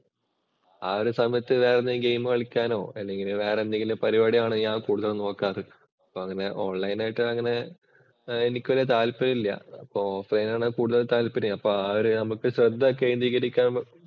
ആ ഒരു സമയത്ത് വേറെ എന്തെങ്കിലും ഗെയിം കളിക്കാനോ, വേറെ ഏതെങ്കിലും പരിപാടികളാണ് ഞാൻ കൂടുതൽ നോക്കാറ്. അപ്പൊ ഓണ്‍ലൈന്‍ ആയിട്ട് എനിക്ക് വല്യ താല്പര്യം ഇല്ല. അപ്പൊ ഓഫ്ലൈന്‍ ആണ് കൂടുതല്‍ താല്പര്യം. അപ്പൊ ആ ഒരു ഇത് നമക്ക് ശ്രദ്ധ കേന്ദ്രീകരിക്കാന്‍